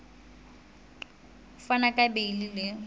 ho fana ka beile le